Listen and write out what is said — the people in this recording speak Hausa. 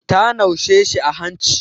Ta naushe shi a hanci.